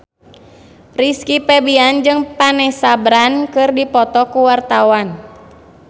Rizky Febian jeung Vanessa Branch keur dipoto ku wartawan